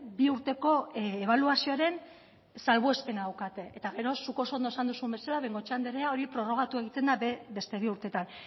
bi urteko ebaluazioaren salbuespena daukate eta gero zuk oso ondo esan duzun bezala bengoechea andrea hori prorrogatu egiten da beste bi urtetan